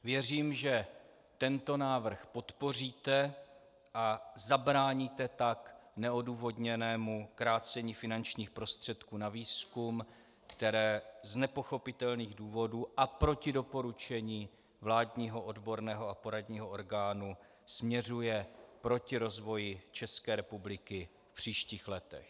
Věřím, že tento návrh podpoříte, a zabráníte tak neodůvodněnému krácení finančních prostředků na výzkum, které z nepochopitelných důvodů a proti doporučení vládního odborného a poradního orgánu směřuje proti rozvoji České republiky v příštích letech.